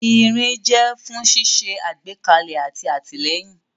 Irin jẹ́ fún ṣíṣe àgbékalẹ̀ àti àtìlẹ́yìn.